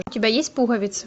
у тебя есть пуговицы